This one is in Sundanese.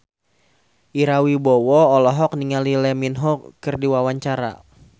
Ira Wibowo olohok ningali Lee Min Ho keur diwawancara